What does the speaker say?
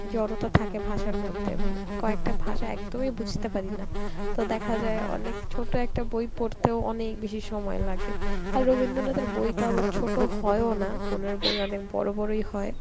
জড়তা থাকে ভাষার মধ্যে মো~ কয়েকটা ভাষা একদমই বুঝতে পারি না. তো দেখা যায় অনেক ছোট একটা বই পড়তেও অনেক বেশি সময় লাগে, আর রবীন্দ্রনাথের বই তো আবার ছোট হয়ও না উনার বই অনেক বড় বড়ই হয়